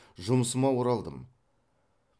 жұмысыма оралдым